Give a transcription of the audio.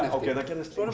eftir